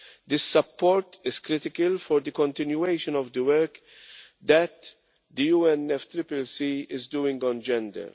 This support is critical for the continuation of the work that the UNFCCC is doing on gender.